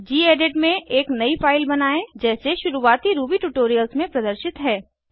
gedit में एक नयी फाइल बनायें जैसे शुरुवाती रूबी ट्यूटोरियल्स में प्रदर्शित है